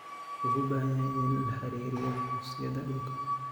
Shacabku waxay u baahan yihiin inay la xiriiraan xafiisyada dhulka.